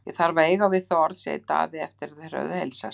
Ég þarf að eiga við þig orð, sagði Daði eftir að þeir höfðu heilsast.